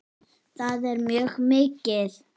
Það er mjög mikið.